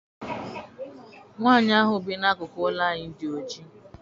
Nwaanyi ahụ bi n'akụkụ ụlọ anyị dị oji.